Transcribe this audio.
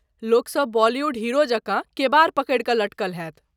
लोकसभ बॉलीवुड हीरो जकाँ केबाड़ पकड़ि लटकल होयत।